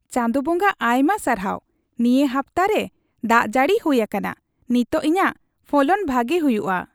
ᱪᱟᱸᱫᱚ ᱵᱚᱸᱜᱟ ᱟᱭᱢᱟ ᱥᱟᱨᱦᱟᱣ ᱱᱤᱭᱟᱹ ᱦᱟᱯᱛᱟ ᱨᱮ ᱫᱟᱜ ᱡᱟᱹᱲᱤ ᱦᱩᱭ ᱟᱠᱟᱱᱟ ᱾ ᱱᱤᱛᱚᱜ ᱤᱧᱟᱜ ᱯᱷᱚᱞᱚᱱ ᱵᱷᱟᱜᱮ ᱦᱩᱭᱩᱜᱼᱟ ᱾